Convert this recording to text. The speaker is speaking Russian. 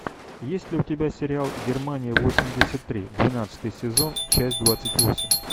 есть ли у тебя сериал германия восемьдесят три двенадцатый сезон часть двадцать восемь